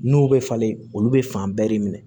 N'u bɛ falen olu bɛ fan bɛɛ de minɛ